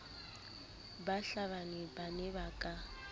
bahlabani ba ne ba ka